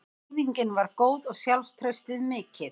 Hreyfingin var góð og sjálfstraustið mikið.